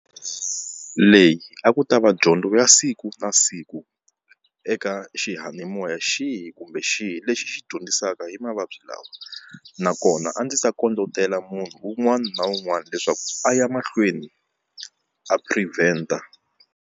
Leyi a ku ta va dyondzo ya siku na siku eka xiyanimoya xihi kumbe xihi lexi xi dyondzisaka hi mavabyi lawa nakona a ndzi ta kondletela munhu un'wana na un'wana leswaku a ya mahlweni a prevent-a.